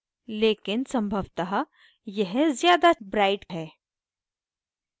लेकिन संभवतः यह ज़्यादा bright है